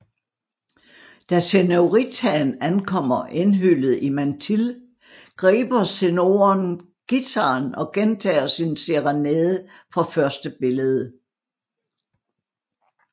Da senoritaen ankommer indhyllet i mantille griber senoren guitaren og gentager sin serenade fra første billede